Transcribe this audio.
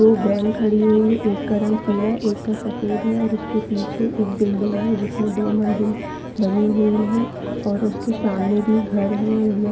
ये वैन खड़ी हुई है एक रंग पीला एक का सफेद है और उसके पीछे एक बिल्डिंग है जिसमे दो मंजिल बनी हुई है और उसके सामने भी घर है-- ।--